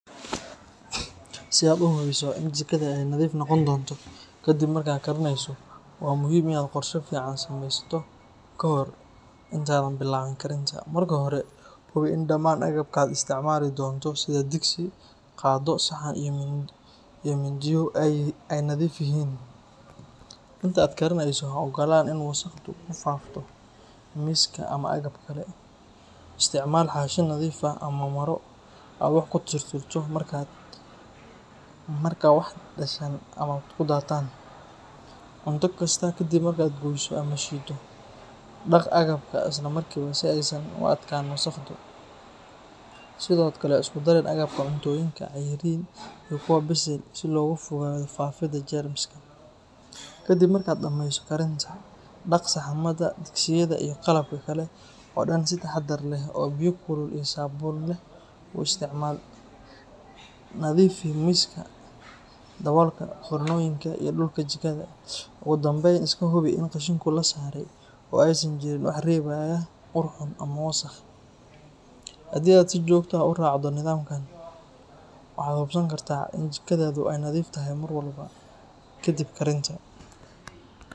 Si aad u hubiso in jikada ay nadiif noqon doonto kadib markaad karineyso, waa muhiim inaad qorshe fiican samaysato ka hor intaadan bilaabin karinta. Marka hore, hubi in dhammaan agabka aad isticmaali doonto sida digsi, qaaddo, saxan iyo mindiyo ay nadiif yihiin. Inta aad karinayso, ha oggolaan in wasakhdu ku faafto miiska ama agabka kale. Isticmaal xaashi nadiif ah ama maro aad wax ku tirtirto marka wax dhashaan ama ku daataan. Cunto kasta kadib markaad goyso ama shiiddo, dhaq agabka isla markiiba si aysan u adkaan wasakhdu. Sidoo kale, ha isku darin agabka cuntooyinka cayriin iyo kuwa bisil si looga fogaado faafidda jeermiska. Kadib markaad dhamayso karinta, dhaq saxamada, digsiyada, iyo qalabka kale oo dhan si taxaddar leh oo biyo kulul iyo saabuun leh u isticmaal. Nadiifi miiska, daboolka foornooyinka, iyo dhulka jikada. Ugu dambeyn, iska hubi in qashinku la saaray oo aysan jirin wax reebaya ur xun ama wasakh. Haddii aad si joogto ah u raacdo nidaamkan, waxaad hubsan kartaa in jikadaadu ay nadiif tahay mar walba kadib karinta.